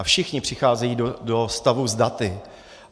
A všichni přicházejí do styku s daty.